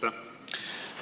Aitäh!